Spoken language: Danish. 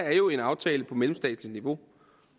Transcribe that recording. er jo en aftale på mellemstatsligt niveau